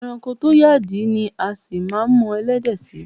E̩ranko tó yàdí ni a sì máa mo̩ e̩lé̩dè̩ sí.